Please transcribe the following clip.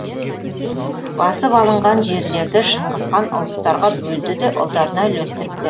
басып алынған жерлерді шыңғыс хан ұлыстарға бөлді де ұлдарына үлестіріп бер